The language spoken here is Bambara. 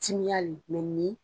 Timiyali nin